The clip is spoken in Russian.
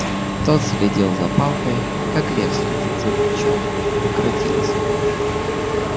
тот следил за палкой как лев следит за бичом укротился